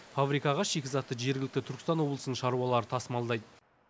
фабрикаға шикізатты жергілікті түркістан облысының шаруалары тасымалдайды